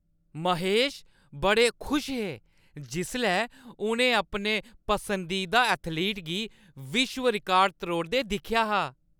महेश बड़े खुश हे जिसलै उʼनें अपने पसंदीदा एथलीट गी विश्व रिकार्ड त्रोड़दे दिक्खेआ हा।